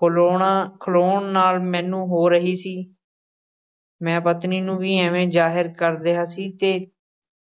ਖਲੋਣਾ ਖਲੋਣ ਨਾਲ਼ ਮੈਨੂੰ ਹੋ ਰਹੀ ਸੀ ਮੈਂ ਪਤਨੀ ਨੂੰ ਵੀ ਇਵੇਂ ਜ਼ਾਹਿਰ ਕਰ ਰਿਹਾ ਸੀ ਤੇ